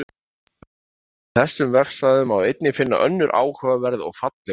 Á þessum vefsvæðum má einnig finna önnur áhugaverð og falleg gröf.